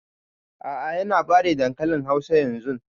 A'a ya na fere dankalin hausan yanzun